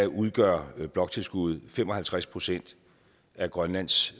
udgør bloktilskuddet fem og halvtreds procent af grønlands